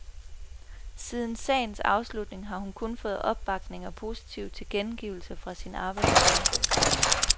Siden sagens afslutning har hun kun fået opbakning og positive tilkendegivelser fra sin arbejdsgiver.